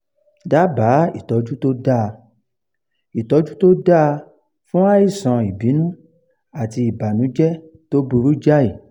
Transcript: daba ìtọ́jú tó dáa ìtọ́jú tó dáa fún àìsàn ìbínú àti ìbànújẹ́ tó burú jáì